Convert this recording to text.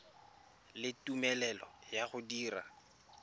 le tumelelo ya go dira